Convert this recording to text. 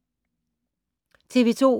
TV 2